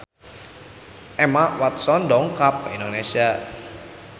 Emma Watson dongkap ka Indonesia